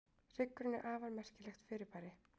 hryggurinn er afar merkilegt fyrirbæri